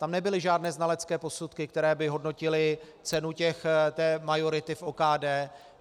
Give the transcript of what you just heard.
Tam nebyly žádné znalecké posudky, které by hodnotily cenu té majority v OKD.